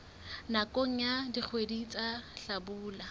nakong ya dikgwedi tsa hlabula